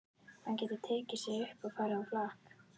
Hann getur tekið sig upp og farið á flakk.